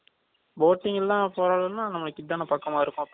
boating ல போறதுனா இதுதான நமக்கு பக்கமா இருக்கும்